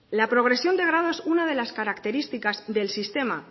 la progresión de grado es una de las características del sistema